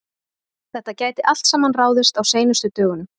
Þetta gæti allt saman ráðist á seinustu dögunum.